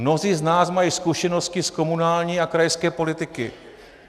Mnozí z nás mají zkušenosti z komunální a krajské politiky.